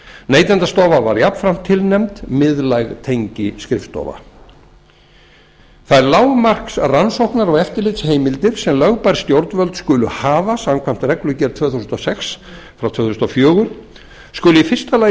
neytendastofa var jafnframt tilnefnd miðlæg tengiskrifstofa það er lágmarks rannsóknar og eftirlitsheimildir sem lögbær stjórnvöld skulu hafa samkvæmt reglugerð númer tvö þúsund og sex tvö þúsund og fjögur skulu heimildirnar í fyrsta lagi